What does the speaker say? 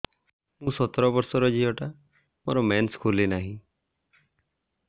ମୁ ସତର ବର୍ଷର ଝିଅ ଟା ମୋର ମେନ୍ସେସ ଖୁଲି ନାହିଁ